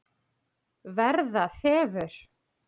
Verða þefur.